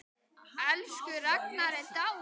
Elsku Ragna er dáin.